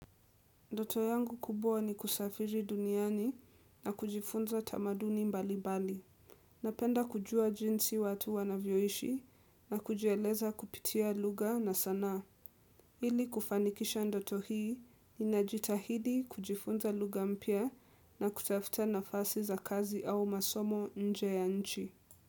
Ndoto yangu kubwa ni kusafiri duniani na kujifunza tamaduni mbali mbali. Napenda kujua jinsi watu wanavyoishi na kujieleza kupitia lugha na sanaa. Ili kufanikisha ndoto hii, ninajitahidi kujifunza lugha mpya na kutafuta nafasi za kazi au masomo nje ya nchi.